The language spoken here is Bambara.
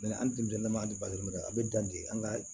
an denmisɛnnin m'a di ma a bɛ dan de an ka